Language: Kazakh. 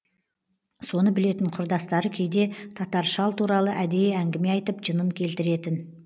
соны білетін құрдастары кейде татар шал туралы әдейі әңгіме айтып жынын келтіретін